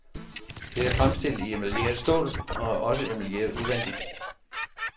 Det er fremstillet i emaljeret stål og er også emaljeret udvendigt.